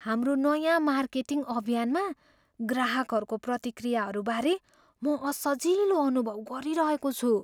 हाम्रो नयाँ मार्केटिङ अभियानमा ग्राहकहरूको प्रतिक्रियाहरूबारे म असजिलो अनुभव गरिरहेको छु।